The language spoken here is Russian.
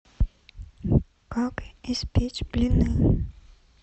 как испечь блины